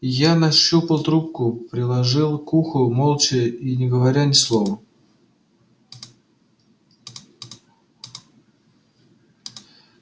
я нащупал трубку приложил к уху молча и не говоря ни слова